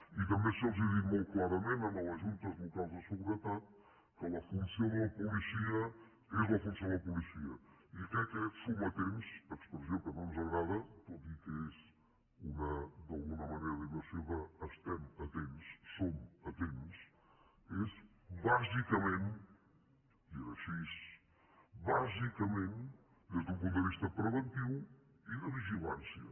i també se’ls ha dit molt clarament a les juntes locals de seguretat que la funció de la policia és la funció de la policia i que aquests sometents expressió que no ens agrada tot i que és una d’alguna manera versió d’ estem atents som atents són bàsicament i és així bàsicament des d’un punt de vista preventiu i de vigilància